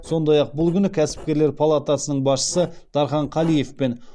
сондай ақ бұл күні кәсіпкерлер палатасының басшысы дархан қалиев пен